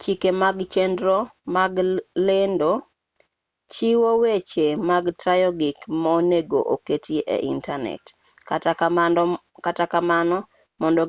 chike mag chenro mag lendo chiwo weche mag tayo gik monego oketi e intanet kata kamano mondo